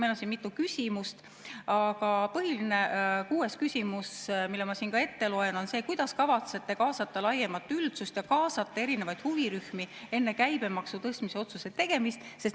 Meil on siin mitu küsimust, aga põhiline on kuues küsimus, mille ma siin ette loen: kuidas kavatsete kaasata laiemat üldsust ja kaasata erinevaid huvirühmi enne käibemaksu tõstmise otsuse tegemist?